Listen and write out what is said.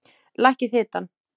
Lækkið hitann.